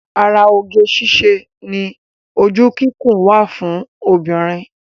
Ara oge síṣe ni ojú kíkún wa fún obìnrin